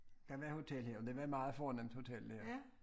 Der var hotel her og det var meget fornemt hotel her